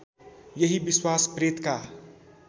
यही विश्वास प्रेतका